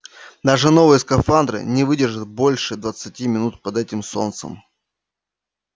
даже новые скафандры не выдержат больше двадцати минут под этим солнцем